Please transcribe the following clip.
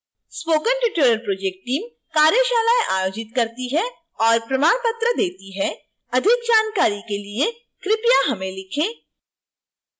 spoken tutorial project team कार्यशालाएं आयोजित करती है और प्रमाण पत्र देती है